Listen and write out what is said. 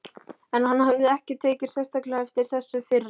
En hann hafði ekki tekið sérstaklega eftir þessu fyrr.